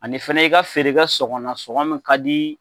Ani fɛnɛ i ka feere kɛ sɔngɔ na, sɔngɔ min ka di.